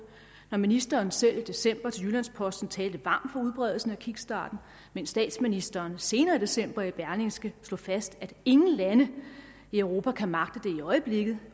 når ministeren selv i december til jyllands posten talte varmt for udbredelsen af kickstarten mens statsministeren senere i december i berlingske slog fast at ingen lande i europa kan magte det i øjeblikket